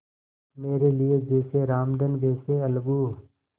मेरे लिए जैसे रामधन वैसे अलगू